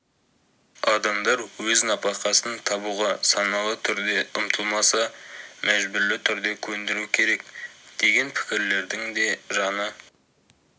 адамдар өз нәпақасын табуға саналы түрде ұмтылмаса мәжбүрлі түрде көндіру керек деген пікірлердің де жаны